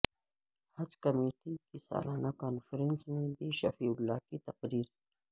حج committee کی سالانہ conference میں بی شفیع اللہ کی تقریر